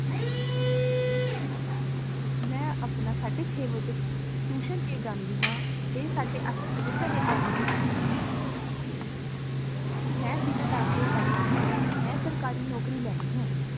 ਮੈਂ ਆਪਣਾ ਸਾਡੇ ਛੇ ਵਜੇ tuition ਤੇ ਜਾਨੀਂ ਹਾਂ ਤੇ ਸਾਡੇ ਅਠ ਵਜੇ ਘਰ ਓਨੀ ਹਾਂ ਮੈਂ ਦਿਲ ਲਾ ਕ ਪੜਦੀ ਹਾਂ ਮੈਂ ਸਰਕਾਰੀ ਨੋਕਰੀ ਲੈਣੀ ਹੈ